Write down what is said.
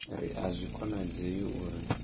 ri a zwi konadzei uri